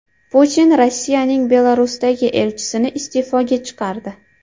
Putin Rossiyaning Belarusdagi elchisini iste’foga chiqardi.